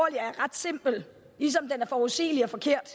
er ret simpel ligesom den er forudsigelig og forkert